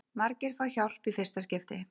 Margir fá hjálp í fyrsta skipti